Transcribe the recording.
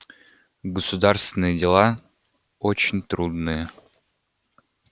государственные дела очень трудные